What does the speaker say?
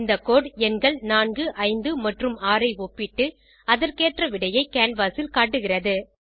இந்த கோடு எண்கள் 4 5 மற்றும் 6 ஐ ஒப்பிட்டு அதற்கேற்ற விடையை கேன்வாஸ் ல் காட்டுகிறது